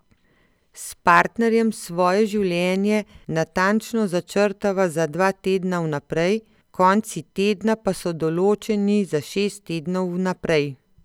S partnerjem svoje življenje natančno začrtava za dva tedna vnaprej, konci tedna pa so določeni za šest tednov vnaprej.